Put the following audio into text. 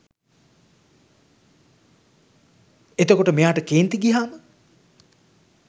එතකොට මෙයාට කේන්ති ගියාම